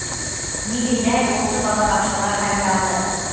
неге дәл осы балабақшалар таңдалды